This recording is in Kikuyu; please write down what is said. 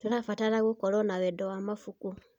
Tũrabatara gũkorwo na wendo ma mabuku.